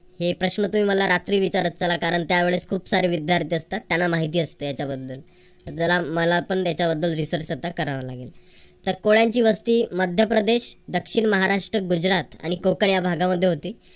हे प्रश्न तुम्ही मला रात्री विचारत चला कारण त्या वेळेस खूप सारे विद्यार्थी असतात. त्यांना माहिती असते याच्याबद्दल जरा मला पण त्याच्याबद्दल research आता करावं लागेल. तर कोळ्यांची वस्ती मध्यप्रदेश दक्षिण महाराष्ट्र गुजरात आणि कोकण या भागामध्ये होती.